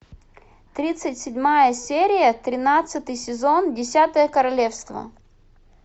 тридцать седьмая серия тринадцатый сезон десятое королевство